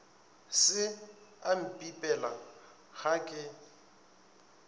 se a mpipela ga ke